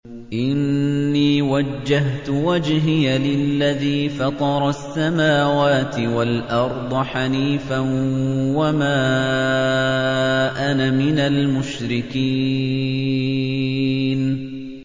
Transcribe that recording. إِنِّي وَجَّهْتُ وَجْهِيَ لِلَّذِي فَطَرَ السَّمَاوَاتِ وَالْأَرْضَ حَنِيفًا ۖ وَمَا أَنَا مِنَ الْمُشْرِكِينَ